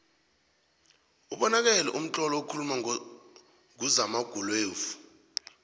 ubonakele mtlolo okuuluma nguzamagveluvo